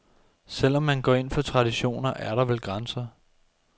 Selv om man går ind for traditioner, er der vel grænser.